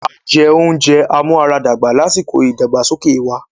A jẹ oúnjẹ amúaradàgbà lásìkò ìdàgbàsókè wa.